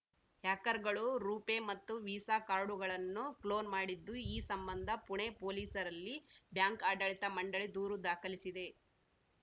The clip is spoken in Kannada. ಹ್ಯಾಕರ್‌ಗಳು ರುಪೇ ಮತ್ತು ವೀಸಾ ಕಾರ್ಡುಗಳನ್ನು ಕ್ಲೋನ್‌ ಮಾಡಿದ್ದು ಈ ಸಂಬಂಧ ಪುಣೆ ಪೊಲೀಸರಲ್ಲಿ ಬ್ಯಾಂಕ್‌ ಆಡಳಿತ ಮಂಡಳಿ ದೂರು ದಾಖಲಿಸಿದೆ